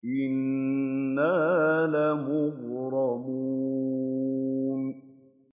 إِنَّا لَمُغْرَمُونَ